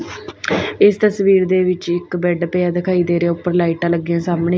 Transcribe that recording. ਇਸ ਤਸਵੀਰ ਦੇ ਵਿੱਚ ਇੱਕ ਬੈਡ ਪਿਆ ਦਿਖਾਈ ਦੇ ਰਿਹਾ ਉੱਪਰ ਲਾਈਟਾਂ ਲੱਗੀਆਂ ਸਾਹਮਣੇ --